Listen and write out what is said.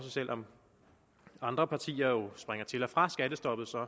selv om andre partier jo springer til og fra skattestoppet